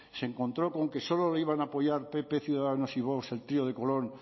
se encontró con que solo lo iban a apoyar pp ciudadanos y vox el trío de colón